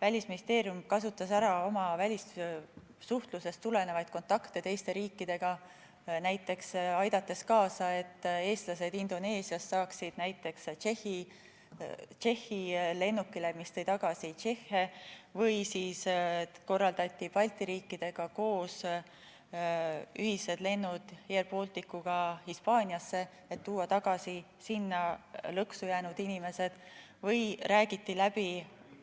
Välisministeerium kasutas ära oma välissuhtlusest tulenevaid kontakte teiste riikidega, näiteks aidates kaasa, et eestlased Indoneesiast saaksid Tšehhi lennukile, mis tõi tagasi tšehhe, või korraldades Balti riikidega koos ühiseid lende Air Balticuga Hispaaniasse, et tuua tagasi sinna lõksu jäänud inimesed, või rääkides läbi